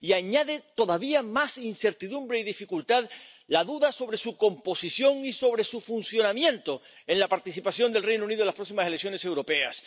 Y añade todavía más incertidumbre y dificultad la duda sobre su composición y sobre su funcionamiento, sobre la participación del Reino Unido en las próximas elecciones europeas.